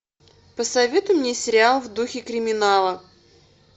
посоветуй мне сериал в духе криминала